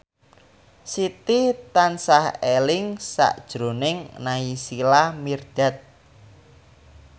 Siti tansah eling sakjroning Naysila Mirdad